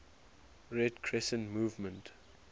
red crescent movement